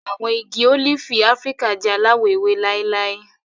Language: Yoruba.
Àwọn igi ólífì Áfíríkà jẹ alawọ ewe láíláí.